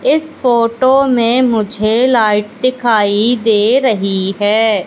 इस फोटो में मुझे लाइट दिखाई दे रही है।